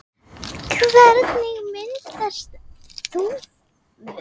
Hvernig myndast þúfur?